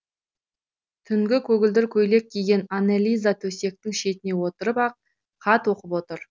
түнгі көгілдір көйлек киген аннелиза төсектің шетіне отырып ап хат оқып отыр